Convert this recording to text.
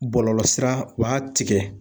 Bɔlɔlɔsira u b'a tigɛ.